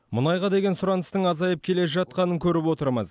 мұнайға деген сұраныстың азайып келе жатқанын көріп отырмыз